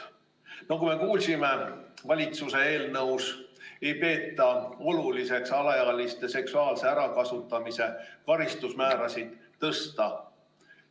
Nagu me kuulsime, valitsuse eelnõus ei peeta oluliseks alaealiste seksuaalse ärakasutamise karistusmäärasid tõsta.